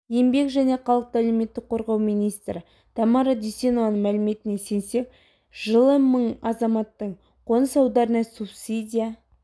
еңбек және халықты әлеуметтік қорғау министрі тамара дүйсенованың мәліметіне сенсек жылы мың азаматтың қоныс аударуына субсидия